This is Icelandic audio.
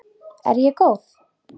Er ég góð?